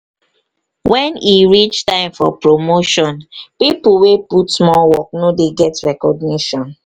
when e reach time for promotion pipo wey put more work no dey get recognition